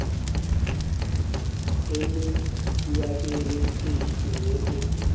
eminyakeni eyishumi edlule